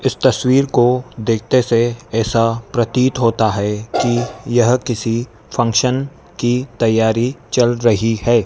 इस तस्वीर को देखते से ऐसा प्रतित होता है कि यह किसी फंक्शन की तैयारी चल रही है।